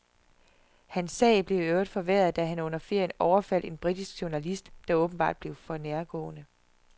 Hans sag blev i øvrigt forværret da han under ferien overfaldte en britisk journalist, der åbenbart blev for nærgående.